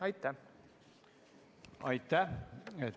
Aitäh!